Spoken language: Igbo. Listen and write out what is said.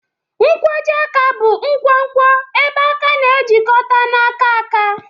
Nkwojiaka bụ nkwonkwo ebe aka na-ejikọta na aka aka.